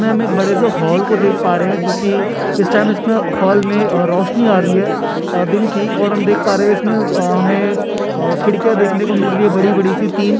हम एक बड़े से हॉल को देख पा रहे है जोकि इस टाइम इसमे हॉल मे अ रोशनी आ रही है अ दिन की और हम देख प रह है इसमे हमे अ खिड़किया देखने को मिल रही है बड़ी-बड़ी सी तीन।